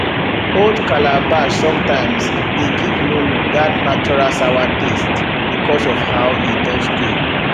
old calabash sometimes de give nono that natural sawa taste because of how e don stay